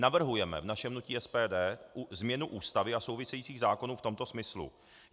Navrhujeme v našem hnutí SPD změnu Ústavy a souvisejících zákonů v tomto smyslu.